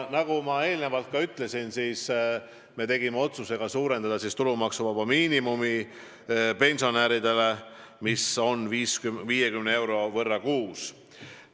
Nagu ma juba ütlesin, me tegime otsuse suurendada pensionäridele tulumaksuvaba miinimumi 50 euro võrra kuus.